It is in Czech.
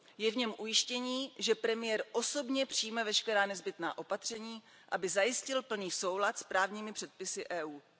Je v něm ujištění, že premiér osobně přijme veškerá nezbytná opatření, aby zajistil plný soulad s právními předpisy Evropské unie.